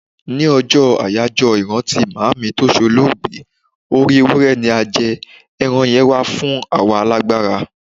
Ní ọjọ́ àyájọ́ ìrántí Màámi tó ṣe olóògbé, orí Ewúré ni a jẹ, ẹran yẹn wà fún àwọn alágbára.